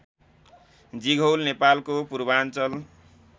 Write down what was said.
जिघौल नेपालको पूर्वाञ्चल